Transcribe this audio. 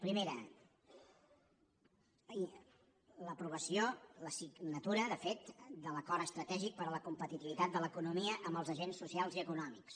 primera l’aprovació la signatura de fet de l’acord estratègic per a la competitivitat de l’economia amb els agents socials i econòmics